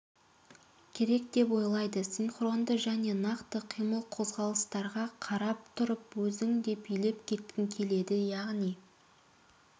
керек деп ойлайды синхронды және нақты қимыл-қозғалыстарға қарап тұрып өзің де билеп кеткің келеді яғни